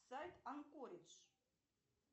сайт анкоридж